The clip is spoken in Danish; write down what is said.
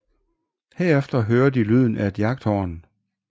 Herefter hører de lyden af et jagthorn